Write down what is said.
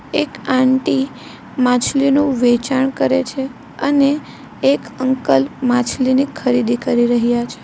એક આંટી માછલી નું વેચાણ કરે છે અને એક અંકલ માછલીની ખરીદી કરી રહ્યા છે.